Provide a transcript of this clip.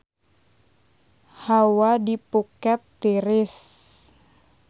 Hawa di Phuket tiris